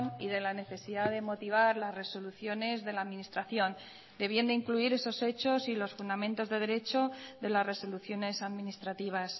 y de la necesidad de motivar las resoluciones de la administración debiendo incluir esos hechos y los fundamentos de derecho de las resoluciones administrativas